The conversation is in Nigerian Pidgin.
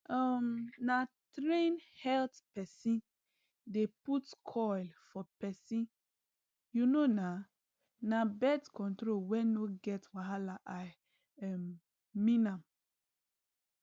um na train health pesin dey put coil for pesin u know na na birth control wey no get wahala i um mean am